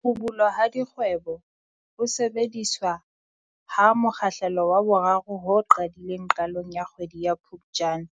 Ho bulwa ha dikgweboHo sebediswa ha mokgahlelo wa 3 ho qadileng qalong ya kgwedi ya Phuptjane,